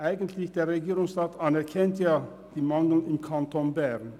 Der Regierungsrat anerkennt die Mängel im Kanton Bern.